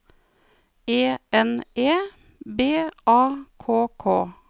E N E B A K K